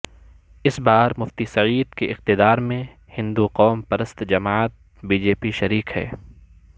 اس بار مفتی سعید کے اقتدار میں ہندوقوم پرست جماعت بی جے پی شریک ہے